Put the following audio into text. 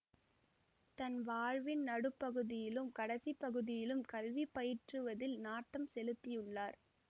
தன் வாழ்வின் நடுப்பகுதியிலும் கடைசிப்பகுதியிலும் கல்வி பயிற்றுவதில் நாட்டம் செலுத்தியுள்ளார்